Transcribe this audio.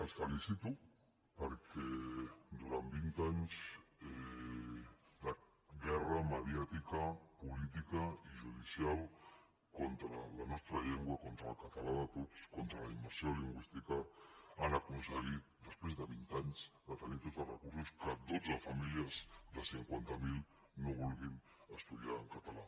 els felicito perquè durant vint anys de guerra mediàtica política i judicial contra la nostra llengua contra el català de tots contra la immersió lingüística han aconseguit després de vint anys de tenir tots els recursos que dotze famílies de cinquanta mil no vulguin estudiar en català